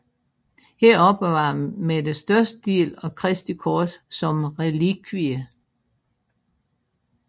Her opbevarer man den største del af Kristi kors som relikvie